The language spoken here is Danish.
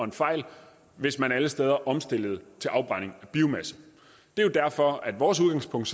og en fejl hvis man alle steder omstillede til afbrænding af biomasse det er jo derfor at vores udgangspunkt